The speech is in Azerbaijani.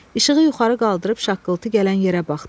İşığı yuxarı qaldırıb şaqqıltı gələn yerə baxdı.